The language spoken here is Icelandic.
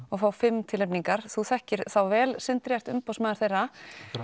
og fá fimm tilnefningar þú þekkir þá vel Sindri þú ert umboðsmaður þeirra